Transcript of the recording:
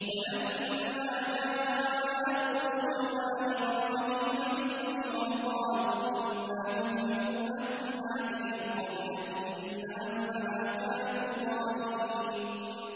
وَلَمَّا جَاءَتْ رُسُلُنَا إِبْرَاهِيمَ بِالْبُشْرَىٰ قَالُوا إِنَّا مُهْلِكُو أَهْلِ هَٰذِهِ الْقَرْيَةِ ۖ إِنَّ أَهْلَهَا كَانُوا ظَالِمِينَ